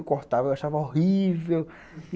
Eu cortava, eu achava horrível.